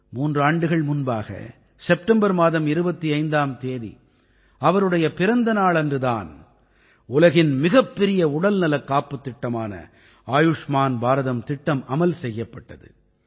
மூன்று ஆண்டுகள் முன்பாக செப்டம்பர் மாதம் 25ஆம் தேதி அவருடைய பிறந்த நாளன்று தான் உலகின் மிகப்பெரிய உடல்நலக் காப்புத் திட்டமான ஆயுஷ்மான் பாரதம் திட்டம் அமல் செய்யப்பட்டது